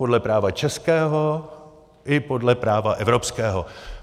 Podle práva českého i podle práva evropského.